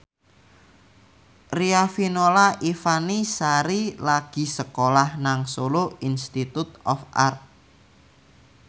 Riafinola Ifani Sari lagi sekolah nang Solo Institute of Art